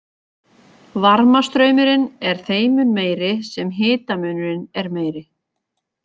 Varmastraumurinn er þeim mun meiri sem hitamunurinn er meiri.